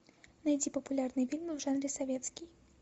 найти популярные фильмы в жанре советский